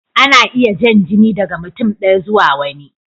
Ana iya jan jini daga mutum ɗaya zuwa wani.